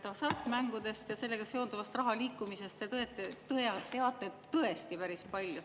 Tundub, et hasartmängust ja sellega seonduvast raha liikumisest te teate tõesti päris palju.